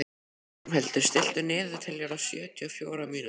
Ormhildur, stilltu niðurteljara á sjötíu og fjórar mínútur.